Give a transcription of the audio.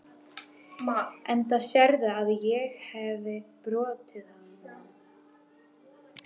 Enda sérðu að ég hefi brotið hana.